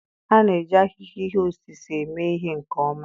A na-eji ahịhịa ihe osise eme ihe nke ọma